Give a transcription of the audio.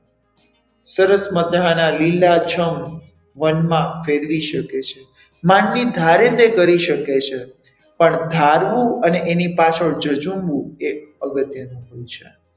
સરસ મજાના લીલાછમ વનમાં ફેરવી શકે છે માનવી ધારે તે કરી શકે છે પણ ધારવું અને એની પાછળ જજુમવું એ અગત્યનું હોય છે.